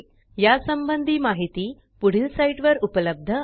या संबंधी माहिती पुढील साईटवर उपलब्ध आहे